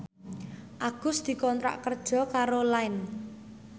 Agus dikontrak kerja karo Line